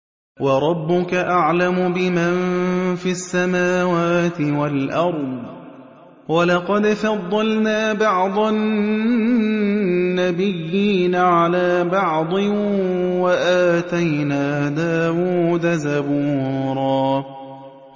وَرَبُّكَ أَعْلَمُ بِمَن فِي السَّمَاوَاتِ وَالْأَرْضِ ۗ وَلَقَدْ فَضَّلْنَا بَعْضَ النَّبِيِّينَ عَلَىٰ بَعْضٍ ۖ وَآتَيْنَا دَاوُودَ زَبُورًا